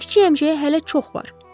Kiçik əmcəyə hələ çox var.